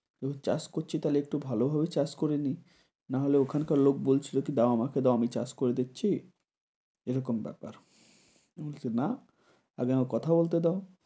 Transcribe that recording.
তো চাষ করছি একটু ভালোভাবেই চাষ করে নেই, নাহলে ওখানকার লোক বলছিল কি দাও আমাকে দাও আমি চাষ করে দিচ্ছি এরকম ব্যাপার। আমি বলছি না! আগে আমাকে কথা বলতে দাও।